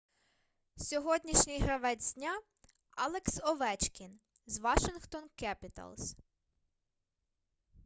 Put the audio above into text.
сьогоднішній гравець дня алекс овечкін з вашингтон кепіталс